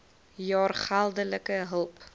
jaar geldelike hulp